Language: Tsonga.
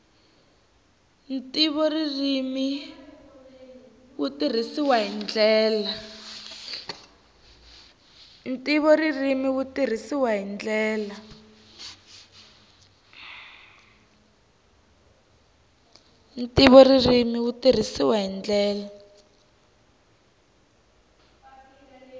ntivoririmi wu tirhisiwile hi ndlela